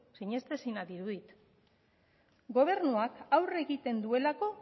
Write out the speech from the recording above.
sinestezina dirudi gobernuak aurre egiten duelako